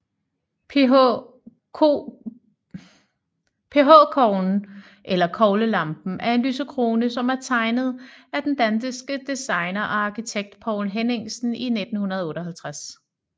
PH Koglen eller Koglelampen er en lysekrone som er tegnet af den danske designer og arkitekt Poul Henningsen i 1958